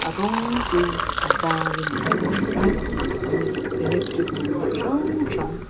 a rawng chu a var in an hnawih a umm electric bungrua hrang hrang.